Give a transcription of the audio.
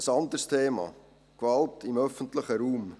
Ein anderes Thema: Gewalt im öffentlichen Raum.